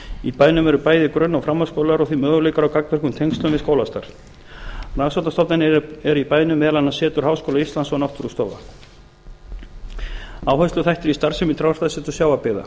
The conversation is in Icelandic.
í bænum eru bæði grunn og framhaldsskólar og því möguleikar á gagnvirkum tengslum við skólastarf rannsóknastofnanir eru í bænum meðal annars setur háskóla íslands og náttúrustofa áhersluþættir í starfsemi trjáræktarseturs sjávarbyggða